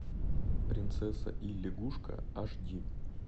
принцесса и лягушка аш ди